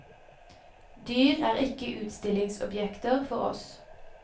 Dyr er ikke utstillingsobjekter for oss.